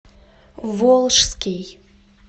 волжский